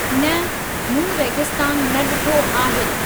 न, मूं रेगिस्तानु न ॾिठो आहे।